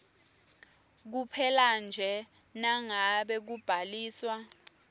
kuphelanje nangabe kubhaliswa